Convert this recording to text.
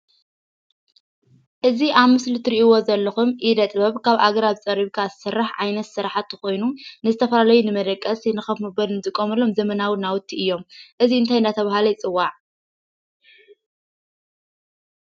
እዙይ ኣብ ምስሊ እትርእይዎ ዘለኹም ኢደ ጥበብ ካብ ኣግራብ ፀሪብካ ዝስራሕ ዓይነት ስራሕቲ ኮይኑ ንዝተፈላለዩ መደቀስን ንኮፍ መበሊ ንጥቀመሎም ዘመናዊ ናውቲ እዮም። እዙይ እንታይ እናተባህለ ይፅዋዕ?